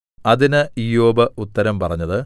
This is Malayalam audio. അതിന് ഇയ്യോബ് ഉത്തരം പറഞ്ഞത്